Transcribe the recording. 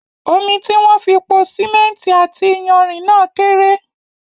Omi tí wón fi pò símẹ́ntì àti iyanrìn náà kéré